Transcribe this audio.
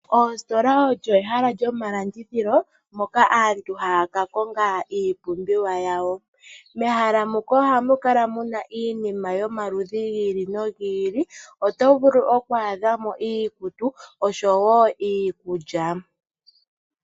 Oositola olyo ehala lyomalandithilo moka aantu haakakonga iipumbiwa yawo mehala muka ohamukala iinima yomaludhi giili no giili ngaashi iikutu niikulya.